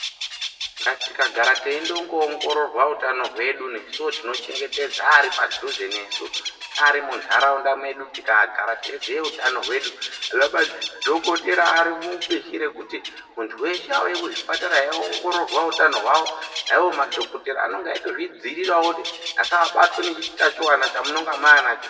Tikagara teiendongo ongororwa utano hwedu nesuwo tinochengetedza aripadhuze nesu neari muntaraunda medu tikagara teiziye utano hwedu vana madhokotera varimubishi rekuti muntu weshe auye kuzvipatara eiongororwa utano hwawo , naiwo madhokotera anonga eitozvidzivirira kuti vasabatwa nechitachiona chamunonga manacho manacho.